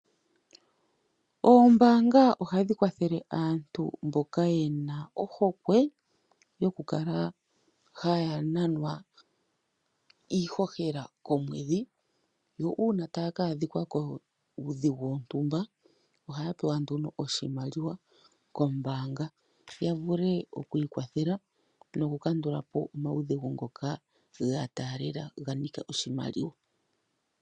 Ombaanga ohadhi kwathele aantu mboka yena ohokwe yoku kala haya nanwa iihohela komwedhi. Uuna taya kaadhika kuudhigu wapumbwa oshimaliwa otaya vulu okupewa oshimaliwa kombaanga ya vule okwiikwathela noku kandulapo omaudhigu ngoka ganika oshimaliwa.